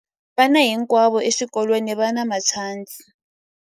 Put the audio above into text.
Vana hinkwavo exikolweni va na matshansi.